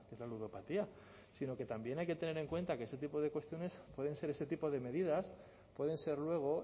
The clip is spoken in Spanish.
la ludopatía sino que también hay que tener en cuenta que este tipo de cuestiones pueden ser ese tipo de medidas pueden ser luego